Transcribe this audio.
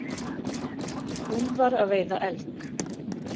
Úlfar að veiða elg.